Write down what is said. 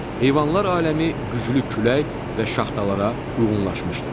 Heyvanlar aləmi güclü külək və şaxtalara uyğunlaşmışdır.